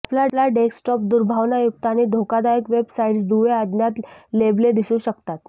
आपला डेस्कटॉप दुर्भावनायुक्त आणि धोकादायक वेब साइट्स दुवे अज्ञात लेबले दिसू शकतात